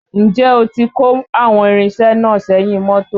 Ǹjẹ́ ó ti kó àwọn irinṣẹ́ náà sẹ́yìn mọ́tò?